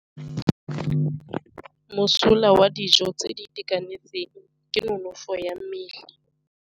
Mosola wa dijô tse di itekanetseng ke nonôfô ya mmele.